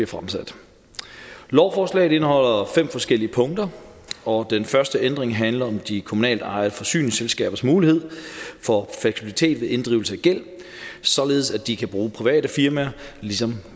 fremsat lovforslaget indeholder fem forskellige punkter og den første ændring handler om de kommunaltejede forsyningsselskabers mulighed for fleksibilitet ved inddrivelse af gæld således at de kan bruge private firmaet ligesom